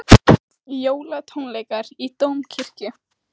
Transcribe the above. Furðulegt hvernig hann gat látið andblæinn í ímyndunarafli sínu gagntaka menn